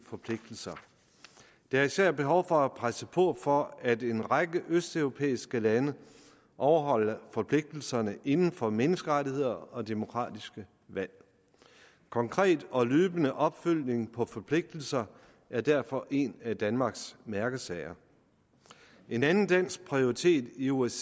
forpligtelser der er især behov for at presse på for at en række østeuropæiske lande overholder forpligtelserne inden for menneskerettigheder og demokratiske valg konkret og løbende opfølgning på forpligtelser er derfor en af danmarks mærkesager en anden dansk prioritet i osce